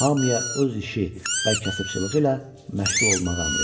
Hamıya öz işi və kasıbçılığı ilə məşğul olmağa əmr etdi.